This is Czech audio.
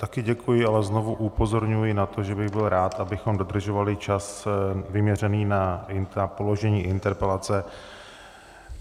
Také děkuji a znovu upozorňuji na to, že bych byl rád, abychom dodržovali čas vyměřený na položení interpelace.